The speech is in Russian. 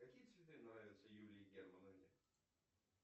какие цветы нравятся юлии германовне